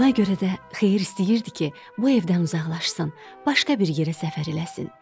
Buna görə də Xeyir istəyirdi ki, bu evdən uzaqlaşsın, başqa bir yerə səfər eləsin.